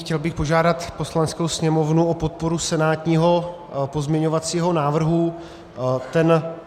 Chtěl bych požádat Poslaneckou sněmovnu o podporu senátního pozměňovacího návrhu.